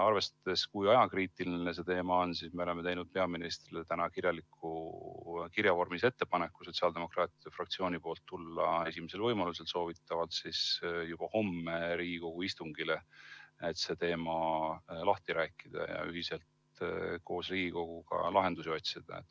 Arvestades, kui ajakriitiline see teema on, tegi sotsiaaldemokraatide fraktsioon täna peaministrile kirja vormis ettepaneku tulla esimesel võimalusel, soovitatavalt juba homme Riigikogu istungile, et see teema lahti rääkida ja ühiselt koos Riigikoguga lahendusi otsida.